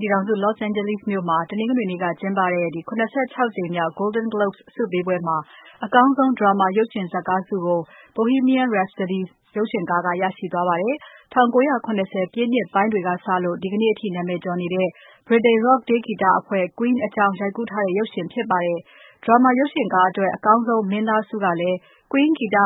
ပြည်ထောင်စု Los Angeles မြို့မှာ တနင်္ဂနွေနေ့က ကျင်းပခဲ့တဲ့ ၇၆ ကြိမ်မြောက် Golden Globes ဆုပေးပွဲမှာ အကောင်းဆုံး Drama ရုပ်ရှင် ဇတ်ကားဆုကို ''Bohemian Rhapsody" ရရှိသွားပါတယ်။ ၁၉၇၀ ပြည့်နှစ်ပိုင်းတွေကစလို့ ဒီနေ့အထိနာမည်ကျော်တဲ့ ဗြိတိန် Rock တေးဂီတအဖွဲ့ Queen အကြောင်းရိုက်ကူးထားတဲ့ ရုပ်ရှင်ဖြစ်ပါတယ်။ Drama ရုပ်ရှင်ကားအတွက် အကောင်းဆုံး မင်းသားဆုကလည်း Queen ဂီတ